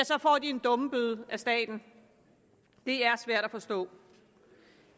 så får en dummebøde af staten det er svært at forstå